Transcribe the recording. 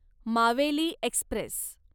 Maveli Express